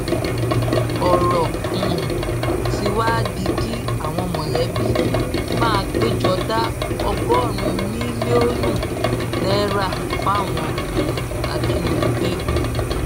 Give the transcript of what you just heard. ọrọ um tí wàá di kí àwọn mọlẹbí máa pé jọ da ọgọrùnún mílíọnù náírà fáwọn um ajínigbé